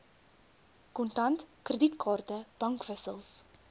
kontant kredietkaarte bankwissels